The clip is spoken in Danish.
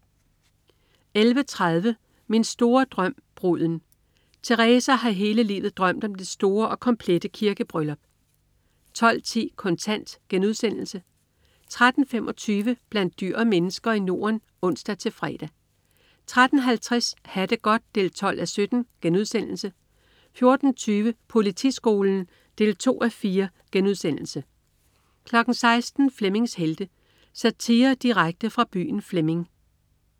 11.30 Min store drøm, bruden. Teresa har hele livet drømt om det store og komplette kirkebryllup 12.10 Kontant* 13.25 Blandt dyr og mennesker i Norden (ons-fre) 13.50 Ha' det godt 12:17* 14.20 Politiskolen 2:4* 16.00 Flemmings Helte. Satire direkte fra byen Flemming